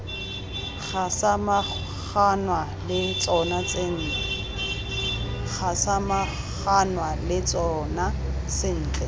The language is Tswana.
ga samaganwa le tsona sentle